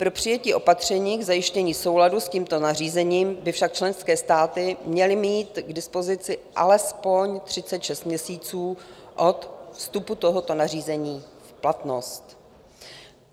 Pro přijetí opatření k zajištění souladu s tímto nařízením by však členské státy měly mít k dispozici alespoň 36 měsíců od vstupu tohoto nařízení v platnost.